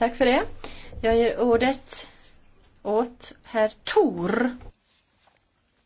Doamnelor și domnilor, eu cred că cel mai important dar pe care Dumnezeu l a făcut omului este câinele.